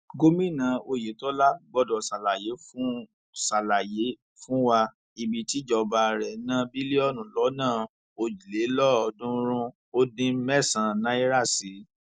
gomina oyetola gbọdọ ṣàlàyé fún ṣàlàyé fún wa ibi tíjọba rẹ ná bílíọnù lọnà òjìlélọọọdúnrúnún ó dín mẹsànán náírà sí